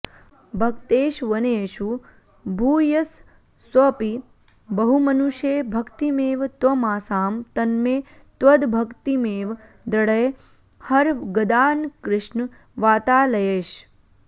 भक्तेष्वन्येषु भूयस्स्वपि बहुमनुषे भक्तिमेव त्वमासां तन्मे त्वद्भक्तिमेव दृढय हर गदान्कृष्ण वातालयेश